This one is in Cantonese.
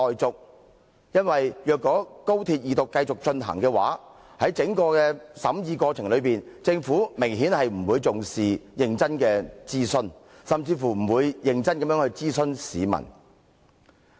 在審議《條例草案》的整個過程中，政府明顯不重視認真的諮詢，甚至沒有認真諮詢市民。